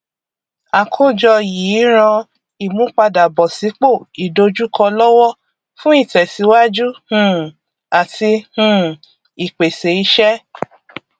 àkójọ yìí ràn ìmúpadàbọsípò ìdojúkọ lọwọ fún ìtẹsíwájú um àti um ìpèsè iṣẹ